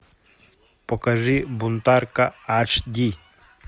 покажи бунтарка аш ди